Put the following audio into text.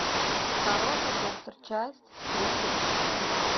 хороший доктор часть тридцать шесть